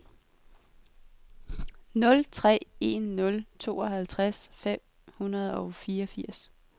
nul tre en nul tooghalvtreds fem hundrede og fireogfirs